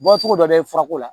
Bɔcogo dɔ bɛ ye furako la